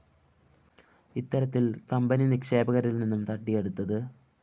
ഇത്തരത്തില്‍ കമ്പനി നിക്ഷേപകരില്‍ നിന്നും തട്ടിയെടുത്തത്